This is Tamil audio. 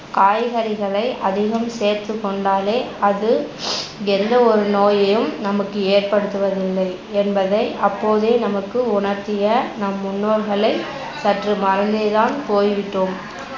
காய்கறிகளை அதிகம் சேர்த்துகொண்டாலே அது எந்த ஒரு நோயையும் நமக்கு ஏற்படுத்துவது இல்லை என்பதை அப்போதே நமக்கு உணர்த்திய நம் முன்னோர்களை சற்று மறந்தேதான் போய்விட்டோம்